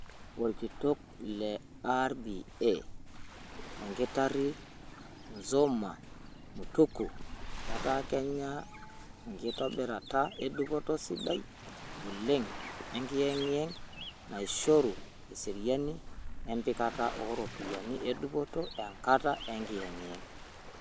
Olkitok le RBA enkitari Nzomo Mutuku: Etaa Kenya inkitobirata e dupoto sidain oleng enkiyengiyeng naaishoru eseriani empikata ooropiyiani edupoto enkata enkiyengiyeng.